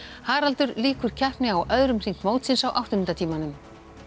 Haraldur lýkur keppni á öðrum hring mótsins á áttunda tímanum